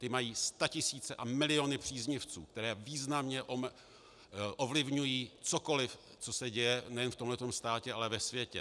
Ty mají statisíce a miliony příznivců, kteří významně ovlivňují cokoliv, co se děje nejenom v tomto státě, ale ve světě.